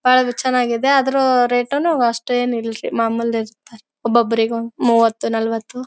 ಒಳಗೆ ಚನ್ನಾಗಿದೆ ಆದ್ರೂನು ರೇಟುನು ಅಷ್ಟೇನು ಇಲ್ಲರಿ ಮಾಮೂಲಿ ಇರತರ್ ಒಬ್ಬರಿಗೆ ಒಂದ್ ಮೂವತ್ತು ನಾಲವತ್ತು.